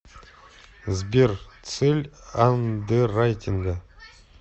сбер цель андеррайтинга